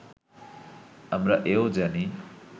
আমরা এ-ও জানি